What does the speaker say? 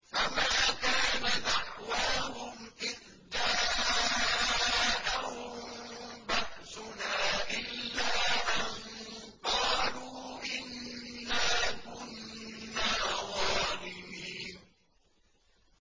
فَمَا كَانَ دَعْوَاهُمْ إِذْ جَاءَهُم بَأْسُنَا إِلَّا أَن قَالُوا إِنَّا كُنَّا ظَالِمِينَ